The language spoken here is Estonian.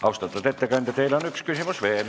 Austatud ettekandja, teile on üks küsimus veel.